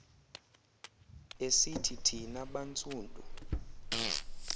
esithi thina bantsundu